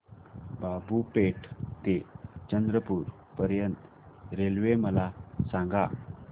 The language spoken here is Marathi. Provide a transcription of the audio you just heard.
बाबूपेठ ते चंद्रपूर पर्यंत रेल्वे मला सांगा